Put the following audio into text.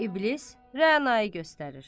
İblis Rənanı göstərir.